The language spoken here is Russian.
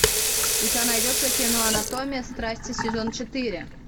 у тебя найдется кино анатомия страсти сезон четыре